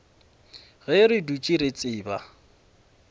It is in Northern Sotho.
ge re dutše re tseba